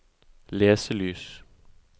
leselys